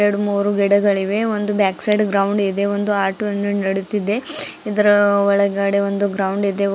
ಎರಡ್ಮೂರು ಗಿಡಗಳಿವೆ ಒಂದು ಬ್ಯಾಕ್ ಸೈಡ್ ಗ್ರೌಂಡ್ ಇದೆ ಒಂದು ಆಟೋ ನಡೆದಿದೆ ಇದರ ಒಳಗಡೆ ಒಂದು ಗ್ರೌಂಡ್ ಇದೆ.